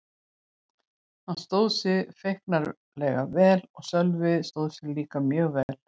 Hann stóð sig feiknarlega vel og Sölvi stóð sig mjög vel líka.